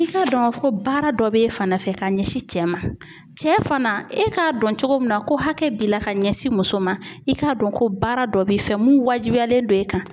I k'a dɔn k'a fɔ ko baara dɔ bɛ e fana fɛ ka ɲɛsin cɛ ma, cɛ fana e k'a dɔn cogo min na ko hakɛ b'i la ka ɲɛsin muso ma, i k'a dɔn ko baara dɔ b'i fɛ mun wajibiyalen don e kan